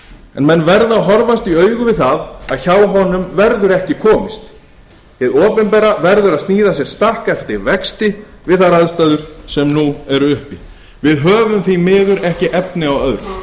en menn verða að horfast í augu við það að hjá honum verður ekki komist hið opinbera verður að sníða sér stakk eftir vexti við þær aðstæður sem nú eru uppi við höfum því miður ekki efni á öðru